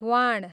वाण